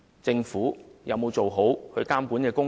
政府有沒有做好監察工作？